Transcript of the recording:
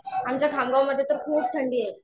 आमच्या खामगावमध्ये तर खूप थंडी आहे.